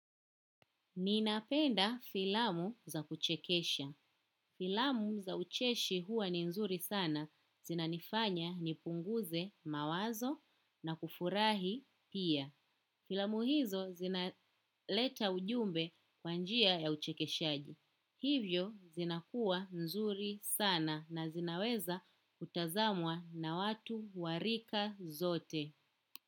Ninapenda filamu za kuchekesha. Filamu za ucheshi huwa ni nzuri sana zina nifanya nipunguze mawazo na kufurahi pia. Filamu hizo zinaleta ujumbe kwa njia ya uchekeshaji. Hivyo zina kuwa nzuri sana na zinaweza kutazamwa na watu warika zote.